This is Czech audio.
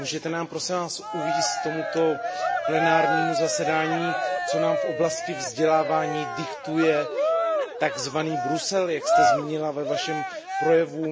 Můžete nám, prosím Vás, uvést k tomuto plenárnímu zasedání, co nám v oblasti vzdělávání diktuje takzvaný Brusel, jak jste zmínila ve Vašem projevu?